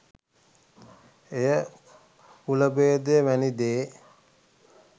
එය කුලභේදය වැනි දේ